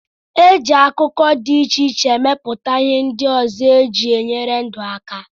E ji akụkụ dị iche iche emepụta ihe ndị ọzọ e ji enyere ndụ aka